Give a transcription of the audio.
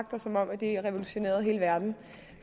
og som om det revolutionerer hele verden